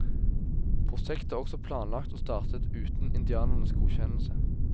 Prosjektet er også planlagt og startet uten indianernes godkjennelse.